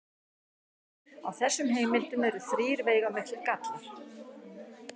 Á þessum heimildum eru þrír veigamiklir gallar.